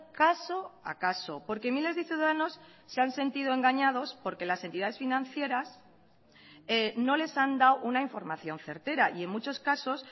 caso a caso porque miles de ciudadanos se han sentido engañados porque las entidades financieras no les han dado una información certera y en muchos casos